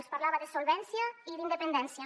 els parlava de solvència i d’independència